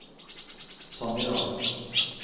Sannidal